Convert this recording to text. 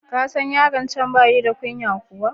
Ka san yaron can ba shi da kunya kuwa?